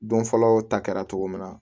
Don fɔlɔ ta kɛra cogo min na